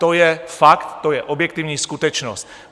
To je fakt, to je objektivní skutečnost.